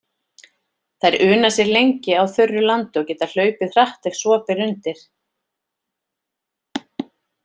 Þær una sér lengi á þurru landi og geta hlaupið hratt ef svo ber undir.